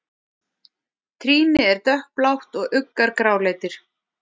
Trýni er dökkblátt og uggar gráleitir.